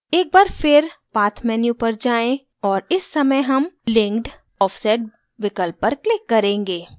एक बार फिर path menu पर जाएँ और इस समय हम linked offset विकल्प पर click करेंगे